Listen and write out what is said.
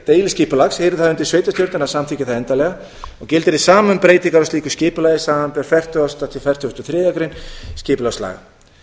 það undir sveitarstjórnir að samþykkja það endanlega og gildir hið sama um breytingar á slíku skipulagi samanber fertugustu til fertugustu og þriðju greinar skipulagslaga